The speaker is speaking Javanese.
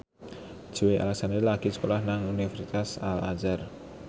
Joey Alexander lagi sekolah nang Universitas Al Azhar